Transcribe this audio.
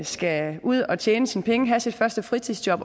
skal ud at tjene sine penge have sit første fritidsjob